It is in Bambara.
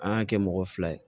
An y'a kɛ mɔgɔ fila ye